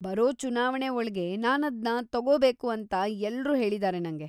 ಬರೋ ಚುನಾವಣೆ ಒಳ್ಗೆ ನಾನದ್ನ ತಗೋಬೇಕು ಅಂಥ ಎಲ್ರೂ ಹೇಳಿದಾರೆ ನಂಗೆ.